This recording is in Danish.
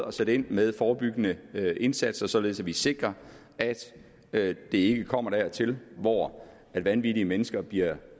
at sætte ind med forebyggende indsatser således at vi sikrer at det ikke kommer dertil hvor vanvittige mennesker bliver